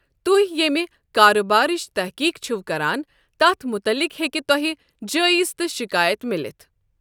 تُہۍ یٔمہِ کارٕبارٕچ تحقیق چھِو کران تتھ مُطلِق ہیکہِ تۄہہِ جٲیزٕ تہٕ شِکایَت مِلِتھ۔۔